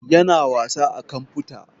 Ya na wasa a kamfuta